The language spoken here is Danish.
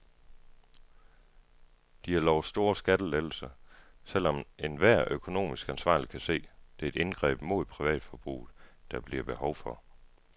De har lovet store skattelettelser, selv om enhver økonomisk ansvarlig kan se, at det er indgreb mod privatforbruget, der bliver behov for.